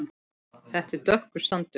Þetta er dökkur sandur.